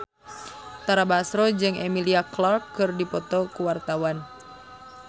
Tara Basro jeung Emilia Clarke keur dipoto ku wartawan